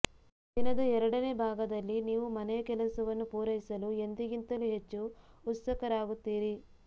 ದಿನದ ಎರಡನೇ ಭಾಗದಲ್ಲಿ ನೀವು ಮನೆಯ ಕೆಲಸವನ್ನು ಪೂರೈಸಲು ಎಂದಿಗಿಂತಲೂ ಹೆಚ್ಚು ಉತ್ಸುಕರಾಗುತ್ತೀರಿ